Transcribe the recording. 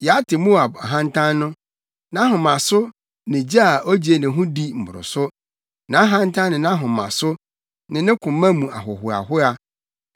“Yɛate Moab ahantan no nʼahomaso ne gye a ogye ne ho di mmoroso; nʼahantan ne nʼahomaso, ne ne koma mu ahohoahoa.